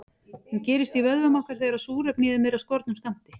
Hún gerist í vöðvum okkar þegar súrefni í þeim er af skornum skammti.